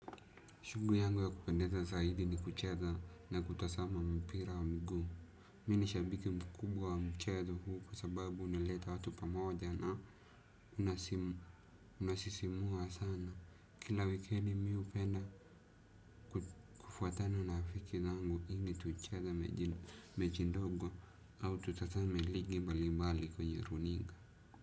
Shughuli yangu ya kupendeza zaidi ni kucheza na kutazama mpira wa miguu. Mi ni shabiki mkubwa wa mchezo huu kwa sababu uneleta watu pamoja na unasisimua sana. Kila wikendi mimi hupenda kufuatana na rafiki zangu ili tucheze mechi ndogo au tutazame ligi mbalimbali kwenye runinga.